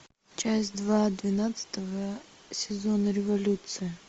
часть два двенадцатого сезона революция